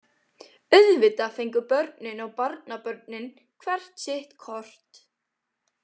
Auðvitað fengu börnin og barnabörnin hvert sitt kort.